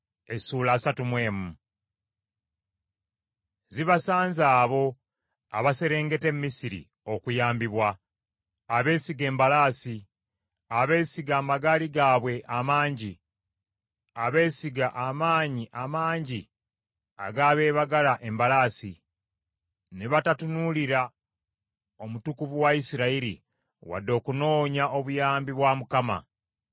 Zibasanze abo abaserengeta e Misiri okuyambibwa, abeesiga embalaasi, abeesiga amagaali gaabwe amangi, abeesiga amaanyi amangi ag’abeebagala embalaasi ne batatunuulira Omutukuvu wa Isirayiri wadde okunoonya obuyambi bwa Mukama .